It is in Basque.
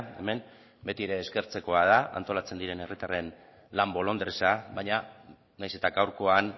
hemen beti ere eskertzekoa da antolatzen diren herritarren lan bolondresa baina nahiz eta gaurkoan